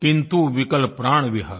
किंतु विकल प्राण विहग